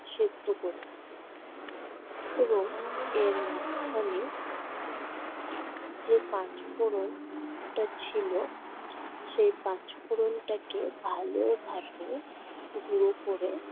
সেদ্ধ করে নিতে হবে এবং এর মাঝখানে যে পাঁচ ফোড়নটা ছিলো, সে পাঁচ ফোড়নটাকে ভালো ভাবে গুঁড়ো করে